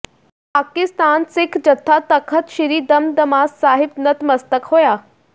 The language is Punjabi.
ਪਾਕਿਸਤਾਨ ਸਿੱਖ ਜਥਾ ਤਖ਼ਤ ਸ੍ਰੀ ਦਮਦਮਾ ਸਾਹਿਬ ਨਤਮਸਤਕ ਹੋਇਆ